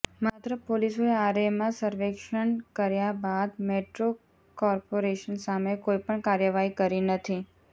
માત્ર પોલીસોએ આરેમાં સર્વેક્ષણ કર્યા બાદ મેટ્રો કોર્પોરેશન સામે કોઇપણ કાર્યવાહી કરી નથી